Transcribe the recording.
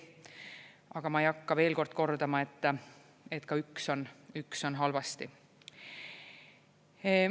Aga ma ei hakka veel kord kordama, et ka üks on halvasti.